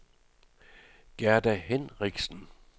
Gerda Hinrichsen